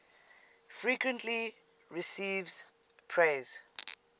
frequently receives praise